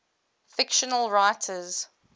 fictional writers